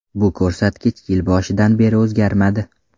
Bu ko‘rsatkich yil boshidan beri o‘zgarmadi.